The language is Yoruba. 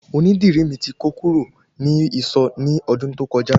Oní dìrí mi ti kó kú rò ni ìsọ̀ ni ọdún tó kọjá